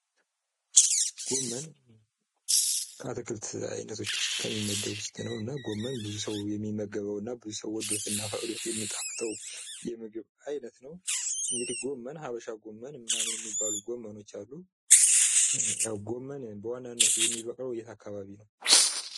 ጎመን ከአትክልት አይነቶች ውስጥ ከሚመደብ ውስጥ ነው። እና ጎመን ብዙ ሰው የሚመገበውና በዙሰው ወዶትና ፈቅዶት የሚጣፍጠው የምግብ አይነት ነው። እንግዲህ ሀበሻ ጎመን ምናምን የሚባሉ ጎመኖች አሉ። ያው ጎመን በዋናነት የሚበቅለው የት አካባቢ ነው?